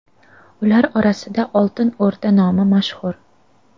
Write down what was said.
Ular orasida Oltin O‘rda nomi mashhur.